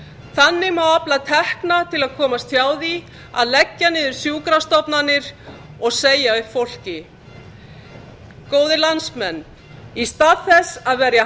þannig má afla tekna til að komast hjá því að leggja niður sjúkrastofnanir og segja upp fólki góðir landsmenn í stað þess að verja